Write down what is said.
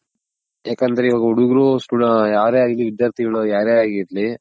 ಯಾಕಂದ್ರೆ ಇವಾಗ ಹುಡುಗ್ರು ಯಾರೇ ಆಗಿರ್ಲಿ ವಿದ್ಯಾರ್ಥಿ ಗಳ್ ಯಾರೇ ಆಗಿರ್ಲಿ